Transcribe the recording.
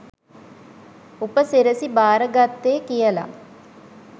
උප සිරැසි බාර ගත්තේ කියලා.